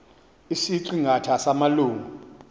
isiqi ngatha samalungu